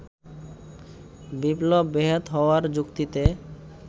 বিপ্লব বেহাত হওয়ার যুক্তিতে